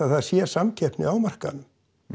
það sé samkeppni á markaðnum